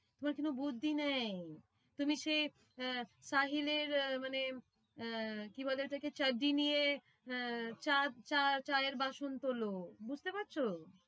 কোনো বুদ্ধি নেই তুমি সেই আহ সাহিলের মানে আহ কি বলে ওটাকে নিয়ে আহ চা চা চা চায়ের বাসন তোলো বুঝতে পারছো।